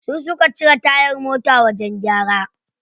Su suka cire tayar mota wajen gyara.